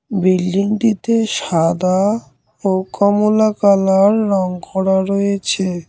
বিল্ডিংটিতে সাদা ও কমলা কালার রং করা রয়েছে।